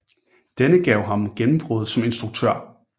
Denne gav ham gennembrud som instruktør